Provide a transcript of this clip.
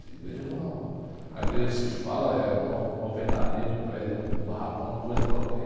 A igreja ´é uma, um, a igreja que se fala eh, é uma, uma alvenaria, é um prédio, é um barracão, uma coisa qualquer.